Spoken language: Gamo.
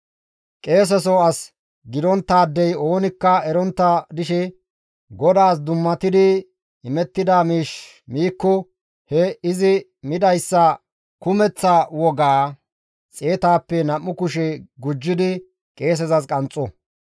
« ‹Qeeseso as gidonttaadey oonikka erontta dishe GODAAS dummatidi imettida miish miikko he izi midayssa kumeththa wogaa xeetappe nam7u kushe gujjidi qeesezas qanxxo.